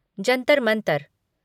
Jantar Mantar